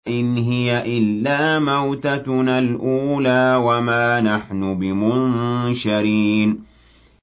إِنْ هِيَ إِلَّا مَوْتَتُنَا الْأُولَىٰ وَمَا نَحْنُ بِمُنشَرِينَ